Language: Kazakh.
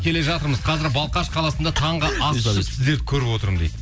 келе жатырмыз қазір балхаш қаласында таңғы ас ішіп сіздерді көріп отырмын дейді